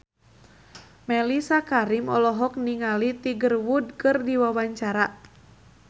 Mellisa Karim olohok ningali Tiger Wood keur diwawancara